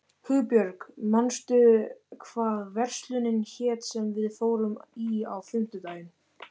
Hugbjörg, manstu hvað verslunin hét sem við fórum í á fimmtudaginn?